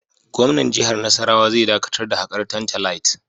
Gwamnan jihar Nasarawa zai dakatar da hakar tantalite.